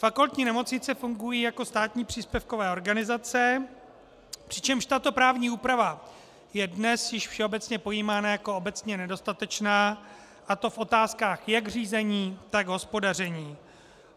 Fakultní nemocnice fungují jako státní příspěvkové organizace, přičemž tato právní úprava je dnes již všeobecně pojímána jako obecně nedostatečná, a to v otázkách jak řízení, tak hospodaření.